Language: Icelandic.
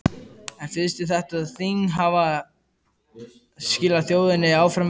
En finnst þér þetta þing hafa skilað þjóðinni áfram veginn?